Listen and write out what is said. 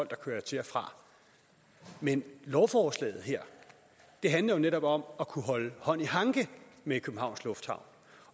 der kører til og fra men lovforslaget her handler jo netop om at kunne holde hånd i hanke med københavns lufthavn